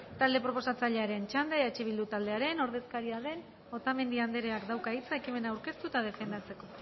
talde proposatzailearen txanda eh bildu taldearen ordezkaria den otamendi andreak dauka hitza ekimena aurkeztu eta defendatzeko